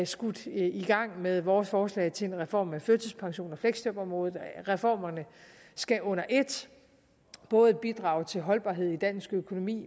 skudt i gang med vores forslag til en reform af førtidspensions og fleksjobområdet reformerne skal under et både bidrage til holdbarhed i dansk økonomi